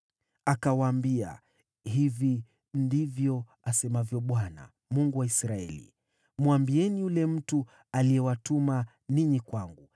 Akawaambia, “Hivi ndivyo asemavyo Bwana , Mungu wa Israeli: Mwambieni yule mtu aliyewatuma ninyi kwangu,